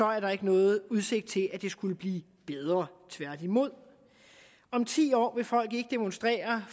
er der ikke nogen udsigt til at det skulle blive bedre tværtimod om ti år vil folk ikke demonstrere